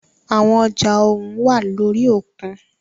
Àwọn ọjà ohùn wá lórí òkun.